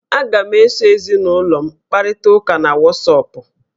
Aga m eso ezinụlọ m kparịta ụka na wọsọpụ